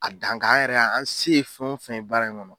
A dan kan yɛrɛ an se ye fɛn o fɛn baara in kɔnɔ